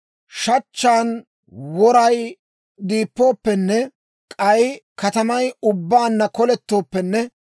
Shachchaan woray diippooppenne, k'ay katamay ubbaanna kolettooppenne,